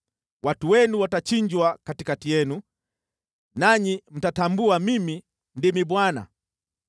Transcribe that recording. Watu wenu watachinjwa katikati yenu, nanyi mtatambua Mimi ndimi Bwana .